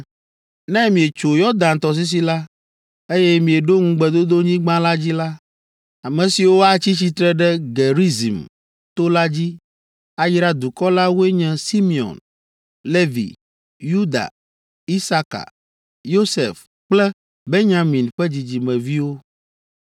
“Ne mietso Yɔdan tɔsisi la, eye mieɖo ŋugbedodonyigba la dzi la, ame siwo atsi tsitre ɖe Gerizim to la dzi, ayra dukɔ la woe nye Simeon, Levi, Yuda, Isaka, Yosef kple Benyamin ƒe dzidzimeviwo,